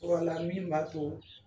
la min tun b'a to